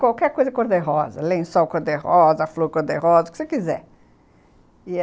Qualquer coisa cor-de-rosa, lençol cor-de-rosa, flor cor-de-rosa, o que você quiser.